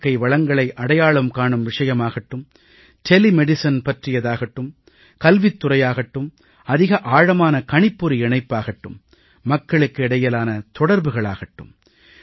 இயற்கை வளங்களை அடையாளம் காணும் விஷயயமாகட்டும் தொலை மருந்து பற்றியதாகட்டும் கல்வித் துறையாகட்டும் அதிக ஆழமான கணிப்பொறி இணைப்பாகட்டும் மக்களுக்கு இடையிலான தொடர்புகள் ஆகட்டும்